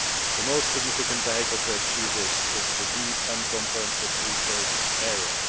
The most significant vehicle to achieve this is the deep and comprehensive free trade area.